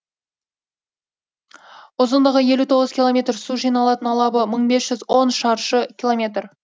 ұзындығы елу тоғыз километр су жиналатын алабы мың бес жүз он шаршы километр